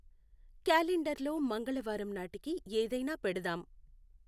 Calendar లో మంగళవారం నాటికీ ఏదైనా పెడదాం.